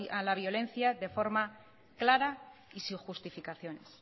a la violencia de forma clara y sin justificaciones